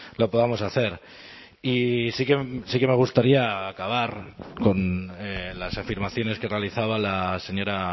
lo podamos hacer y sí que me gustaría acabar con las afirmaciones que realizaba la señora